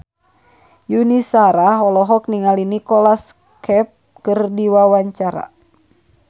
Yuni Shara olohok ningali Nicholas Cafe keur diwawancara